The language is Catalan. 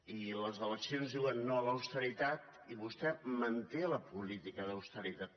i les eleccions diuen no a l’austeritat i vostè manté la política d’austeritat